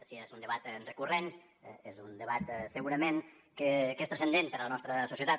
si és un debat recurrent és un debat segurament que és transcendent per a la nostra societat